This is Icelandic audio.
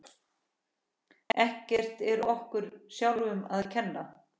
Ekkert er okkur sjálfum að kenna.